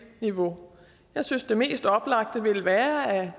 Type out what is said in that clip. niveau jeg synes det mest oplagte ville være at